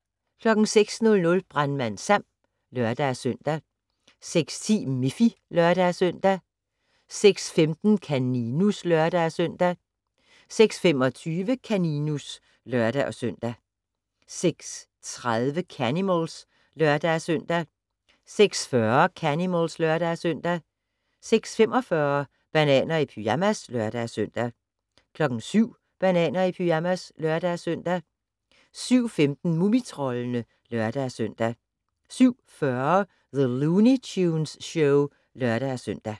06:00: Brandmand Sam (lør-søn) 06:10: Miffy (lør-søn) 06:15: Kaninus (lør-søn) 06:25: Kaninus (lør-søn) 06:30: Canimals (lør-søn) 06:40: Canimals (lør-søn) 06:45: Bananer i pyjamas (lør-søn) 07:00: Bananer i pyjamas (lør-søn) 07:15: Mumitroldene (lør-søn) 07:40: The Looney Tunes Show (lør-søn)